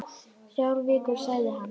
Þrjár vikur, sagði hann.